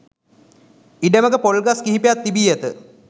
ඉඩමක පොල් ගස් කිහිපයක් තිබී ඇත